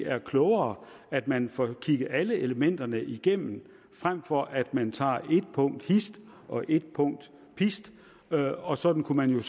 er klogere at man får kigget alle elementerne igennem frem for at man tager et punkt hist og et punkt pist og sådan kunne man